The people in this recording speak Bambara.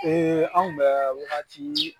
Ee an bɛ wagati